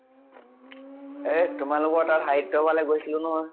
এহ তোমালোকৰ তাত সাহিত্য় ফালে গৈছিলো নহয় ।